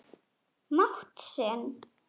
mátt sinn.